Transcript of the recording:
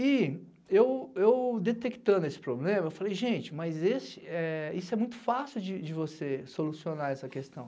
E eu detectando esse problema, eu falei, gente, mas isso é muito fácil de você solucionar essa questão.